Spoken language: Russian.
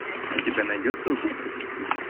у тебя найдется убийца в сети